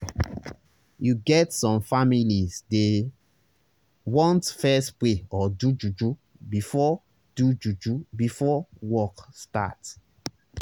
you get some families dey want fess pray or do juju before do juju before work start